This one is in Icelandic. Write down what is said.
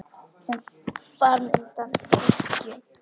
sem bar mig undan bylgju.